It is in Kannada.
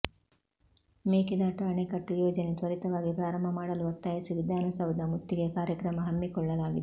ಮೇಕೆದಾಟು ಅಣೆಕಟ್ಟು ಯೋಜನೆ ತ್ವರಿತವಾಗಿ ಪ್ರಾರಂಭ ಮಾಡಲು ಒತ್ತಾಯಿಸಿ ವಿಧಾನಸೌಧ ಮುತ್ತಿಗೆ ಕಾರ್ಯಕ್ರಮ ಹಮ್ಮಿಕೊಳ್ಳಲಾಗಿದೆ